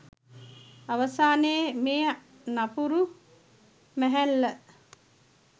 අවසානයේ මේ නපුරු මැහැල්ල